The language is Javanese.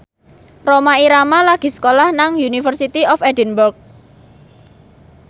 Rhoma Irama lagi sekolah nang University of Edinburgh